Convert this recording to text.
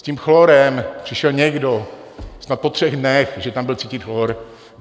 S tím chlorem přišel někdo snad po třech dnech, že tam byl cítit chlor.